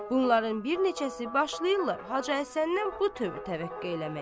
Bunların bir neçəsi başlayırlar Hacı Həsəndən mötəbə təvəqqe eləməyə.